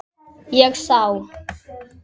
Ég sá